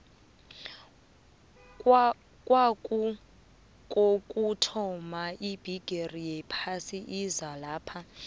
kwaku kokuthoma ibigiri yephasi izalapha